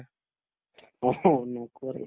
অস নকৰে